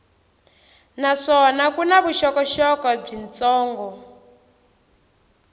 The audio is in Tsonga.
naswona ku na vuxokoxoko byitsongo